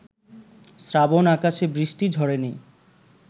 শ্রাবণ-আকাশে বৃষ্টি ঝরেনি